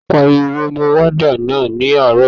Ta ló pariwo mọ wádà náà ní àárọ̀ yìí?